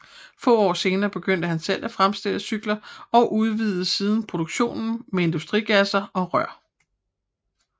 Få år senere begyndte han selv at fremstille cykler og udvidede siden produktionen med industrigasser og rør